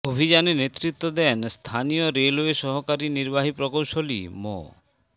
অভিযানে নেতৃত্ব দেন স্থানীয় রেলওয়ের সহকারী নির্বাহী প্রকৌশলী মো